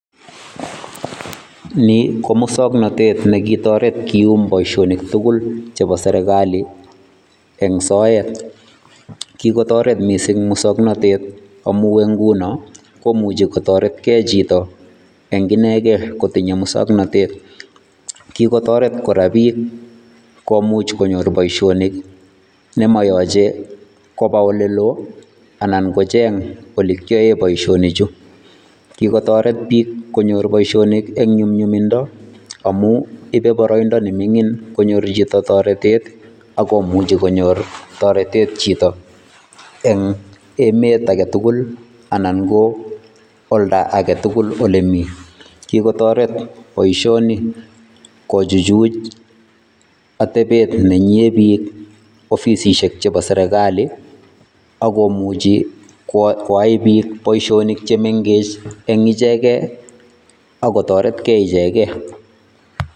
Nii ko muswoknotet nekitoret kium boishonik tukul chebo serikali en soet, kikotoret mising muswoknotet amun eng' ng'unon komuche kotoretkee chito en ing'ineken kotinye muswoknotet, kokotoret kora biik komuch konyor boishonik nemokoyoche koba olelo anan kocheng olee kiyoen boishonichu, kikotoret biik konyor boishonik en nyumnyumindo amun ibee boroindo neming'in konyor chito toretet ak komuchi konyor toretet chito eng' emet aketukul anan ko olda aketukul olemii, kikotoret boishoni kochuchuch atebet netinye biik ofisishek chebo serikali ak komuchi koyai biik boishonik chemeng'ech eng' icheken ak kotorekee icheken.